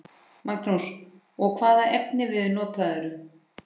Magnús: Og hvaða efnivið notarðu?